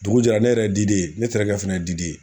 Dugu jɛra ne yɛrɛ diden ye ne terikɛ fana diden ye